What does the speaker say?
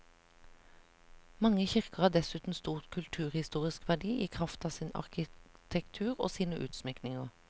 Mange kirker har dessuten stor kulturhistorisk verdi i kraft av sin arkitektur og sine utsmykninger.